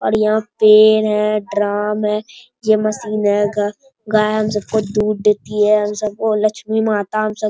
और यहां पेड़ है ड्राम है ये मशीन है ग गाय हम सबको दूध देती है हम सबको लक्ष्मी माता हम सब --